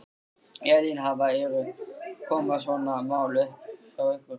Elín, hafa, eru, koma svona mál upp hjá ykkur?